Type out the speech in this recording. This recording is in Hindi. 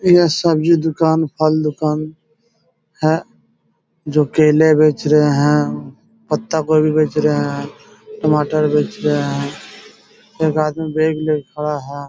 यह सब्जी दुकान फल दुकान है जो केले बेच रहे है पत्ता गोभी बेच रहे है टमाटर बेच रहे है एक आदमी बेग लेके खड़ा है ।